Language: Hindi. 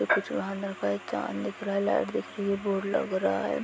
एक जवान लड़का एक चांद दिख रहा है लाइट दिख रही है बोर्ड लग रहा है। ।